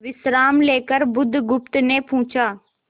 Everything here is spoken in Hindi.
विश्राम लेकर बुधगुप्त ने पूछा